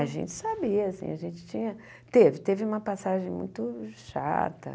A gente sabia, assim, a gente tinha... Teve, teve uma passagem muito chata.